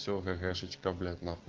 всё какашечка блять нахуй